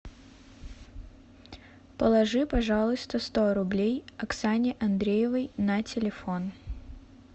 положи пожалуйста сто рублей оксане андреевой на телефон